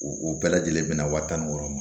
O bɛɛ lajɛlen bɛna wa tan ni wɔɔrɔ ma